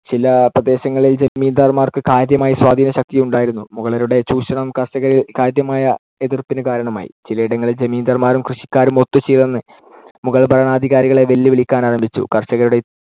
ചില പ്രദേശങ്ങളിൽ ജമീന്ദാർമാർക്ക് കാര്യമായ സ്വാധീനശക്തിയുണ്ടായിരുന്നു. മുഗളരുടെ ചൂഷണം കർഷകരിൽ കാര്യമായ എതിർപ്പിന്‌ കാരണമായി. ചിലയിടങ്ങളിൽ ജമീന്ദാർമാരും കൃഷിക്കാരും ഒത്തുചേർന്ന് മുഗൾ ഭരണാധികാരികളെ വെല്ലുവിളിക്കാനാരംഭിച്ചു. കർഷകരുടെ